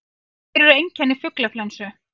Hver eru einkenni fuglaflensu?